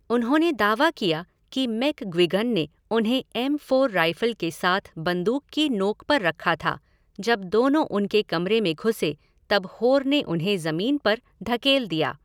उन्होंने दावा किया कि मैग्विगन ने उन्हें एम फ़ोर राइफ़ल के साथ बंदूक की नोक पर रखा था, जब दोनों उनके कमरे में घुसे तब होर ने उन्हें ज़मीन पर धकेल दिया।